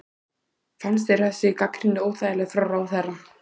Höskuldur: Fannst þér þessi gagnrýni óþægileg frá ráðherra?